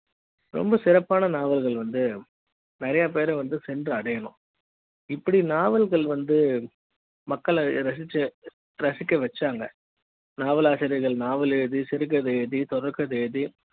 ரொம்ப சிறப்பான நாவல்கள் வந்து நிறைய பேர வந்து சென்றடையனும் இப்படி நாவல்கள் வந்து மக்கள ரசித்து ரசிக்க வச்சாங்க நாவலாசிரியர்கள் நாவலை எழுதி சிறுகதைகள் தொடர்கதை எழுதி